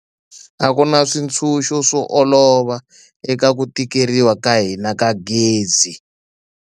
A ku na switshuxo swo olova eka ku tikeriwa ka hina ka gezi.